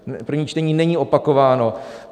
První čtení není opakováno.